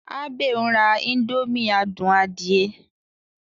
Abe n rá indomie adùn adie.